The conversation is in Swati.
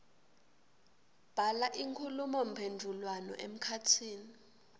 bhala inkhulumomphendvulwano emkhatsini